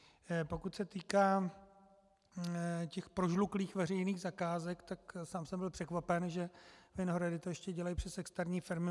Pokud se týká těch prožluklých veřejných zakázek, tak sám jsem byl překvapen, že Vinohrady to ještě dělají přes externí firmy.